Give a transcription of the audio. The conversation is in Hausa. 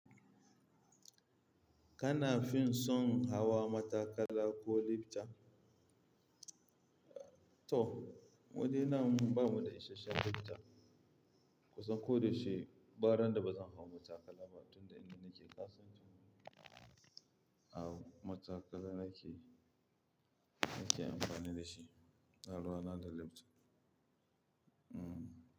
Kana fin son hawa matakala ko lifta? To, mudai nnan ba mu da isasshen lifta. Kusan kodai yaushe, bara dan da ba zan hau matakala ba tun da ina nake Katsina. A'a matakala nake, nake amfani da shi, ba ruwa na da lifta. Hmm.